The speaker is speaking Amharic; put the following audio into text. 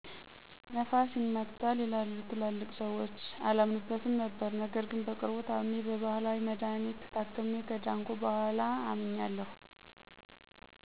ነፋስ ይማታል ይላሉ ትላልቅ ስዎች አላምንበትም ነበር ነገር ግን በቅርቡ ታምሜ በባህላዊ መድሀኒት ታክሜ ከዳንኩ በኋላ አምኛለሁ።